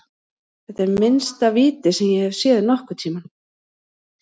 Þetta er minnsta víti sem ég hef séð nokkurntímann.